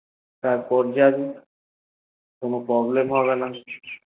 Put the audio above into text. তার পর যাবি কোনো problem হবেনা